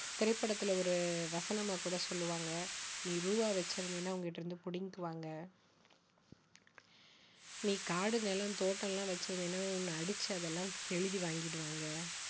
திரைப்படத்தில ஒரு வசனமா கூட சொல்லுவாங்க நீ ரூபா வச்சிருந்தீனா உன்கிட்ட இருந்து புடிங்கிக்குவாங்க நீ காடு, நிலம், தோட்டம்லாம் வச்சிருந்தீனா உன்னை அடிச்சு அதெல்லாம் எழுதி வாங்கிடுவாங்க